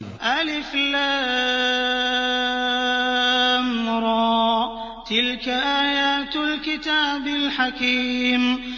الر ۚ تِلْكَ آيَاتُ الْكِتَابِ الْحَكِيمِ